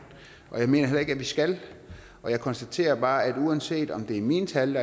og jeg mener heller ikke vi skal jeg konstaterer bare at uanset om det er mine tal